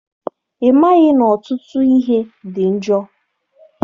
Ị maghị na ọtụtụ ihe dị njọ?